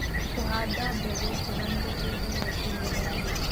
Kũhanda mbegũ njega nĩgũteithagia kũnyihia mĩrimũ.